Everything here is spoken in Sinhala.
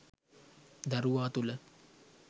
දරුවා තුළ